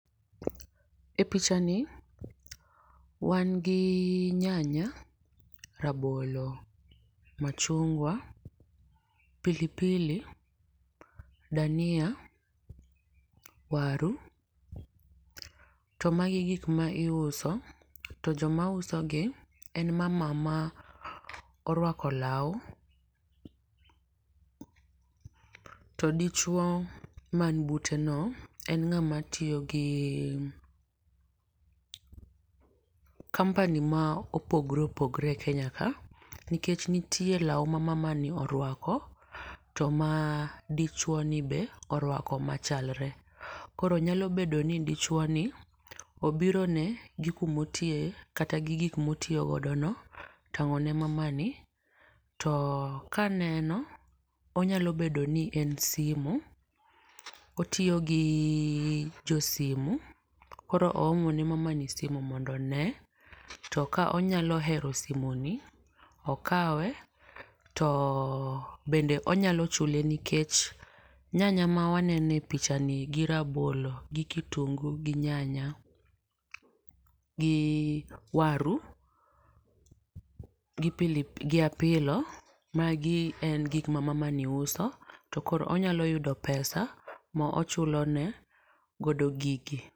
E pichani, wan gi nyanya, rabolo, machungwa, pilipili, dhania, waru to magi gin gikma iuso to ng'amausogi en mama ma orwako lau to dichu man buteno en ng'ama tiyogi company ma opogore opogore e kenya kae, nikech nitie lau ma mamani orwako to ma dichuoni be orwako machalre, koro nyalobedo ni dichuoni obiro ne jokumotiye kata gi gikmotiyogodo no tang'o ne mamani to ka aneno onyalobedo ni en simu, otiyo gi josimu koro oomo ne mamani simu mondo onee to ka onyalohero simuni okawe to bende onyalochule nikech nyanya ma waneno e pichani gi rabolo gi kitungu gi nyanya gi waru gi pilip gi apilo magi en gikma mamani uso to koro onyaloyudo pesa ma ochulone godo gigi.